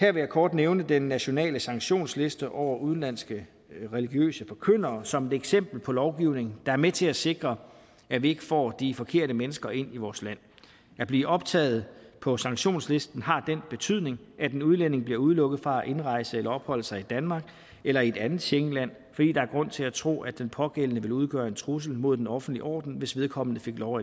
her vil jeg kort nævne den nationale sanktionsliste over udenlandske religiøse forkyndere som et eksempel på lovgivning der er med til at sikre at vi ikke får de forkerte mennesker ind i vores land at blive optaget på sanktionslisten har den betydning at en udlænding bliver udelukket fra at indrejse eller opholde sig i danmark eller i et andet schengenland fordi der er grund til at tro at den pågældende vil udgøre en trussel mod den offentlige orden hvis vedkommende fik lov